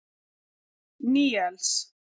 Níels